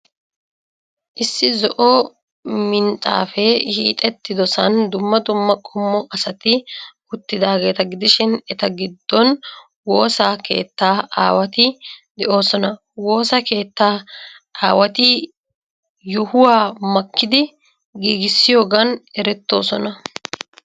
Issi zo'o minxxafee hiixeettidosan dumma dumma qommo asati uttidaageeta gidishin, eta giddon woosa keettaa aawati de'oosona. Woosa keettaa aawati yohuwa makkidi giiggissiyoogan erettoosona.